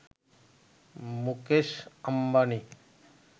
Mukesh Ambani